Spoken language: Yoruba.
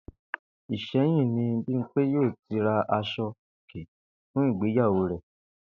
Ìsé̩yìn ni Bímpé yóò ti ra as̩o-òkè fún ìgbéyàwó rè̩